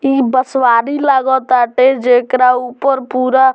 इ बँसवारी लगताटे जेकरा ऊपर पुरा --